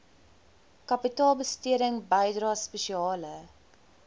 kapitaalbesteding bydrae spesiale